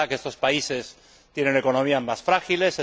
Es verdad que estos países tienen economías más frágiles.